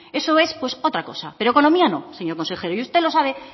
eso es otra cosa pero economía no señor consejero y usted lo sabe